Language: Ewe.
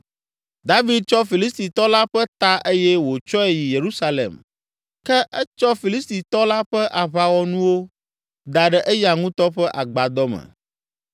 David tsɔ Filistitɔ la ƒe ta eye wòtsɔe yi Yerusalem ke etsɔ Filistitɔ la ƒe aʋawɔnuwo da ɖe eya ŋutɔ ƒe agbadɔ me.